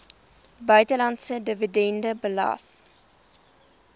buitelandse dividende belas